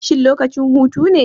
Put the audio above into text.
Shin lokacin hutu ne?